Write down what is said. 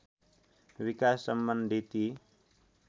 विकास सम्बन्धी ती